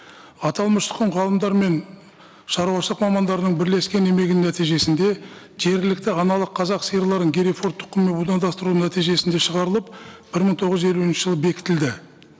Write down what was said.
аталмыш тұқым ғалымдар мен шаруашылық мамандарының бірлескен еңбегінің нәтижесінде жергілікті аналық қазақ сиырларын герифорт тұқымы будандастыру нәтижесінде шығарылып бір мың тоғыз жүз елуінші жылы бекітілді